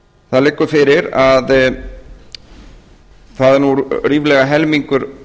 það liggur fyrir að það er nú ríflega helmingur